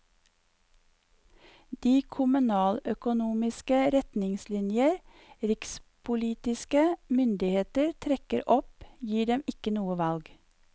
De kommunaløkonomiske retningslinjer rikspolitiske myndigheter trekker opp, gir dem ikke noe valg.